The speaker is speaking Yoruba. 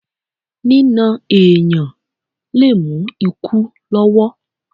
Nína èèyàn lé mú ikú lọ́wọ́